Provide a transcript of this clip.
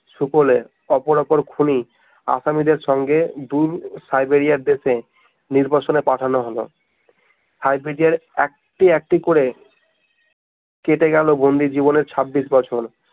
শুকলে অপরাপর খুনি আসামীদের সঙ্গে দূর সাইবেরিয়ার দেশে নির্বাসনে পাঠানো হলো সাইবেরিয়ার একটি একটি করে কেটে গেল বন্দি জীবনের ছাব্বিশ বছর